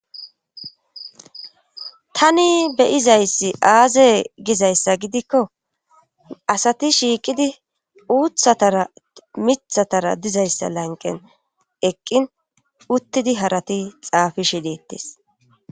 tani beyizayssi aaze gizayssa gidikko asati shiiqidi uuthatara mithatara dizayssa lanqen eqqin uttidi harati xaafishe deettes